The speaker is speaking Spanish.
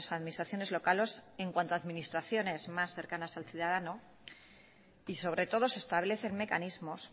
administraciones locales en cuanto a administraciones más cercanas al ciudadano y sobre todo se establecen mecanismos